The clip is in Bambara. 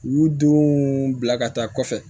U y'u denw bila ka taa kɔfɛ